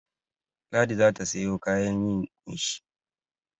Ladi za ta sayo kayan yin ƙunshi.